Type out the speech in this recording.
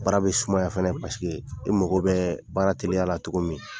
Baara bɛ sumaya fana paseke e mago bɛ baara teliya la cogo min